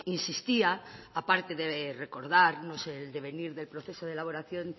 insistía aparte de recordarnos el devenir del proceso de elaboración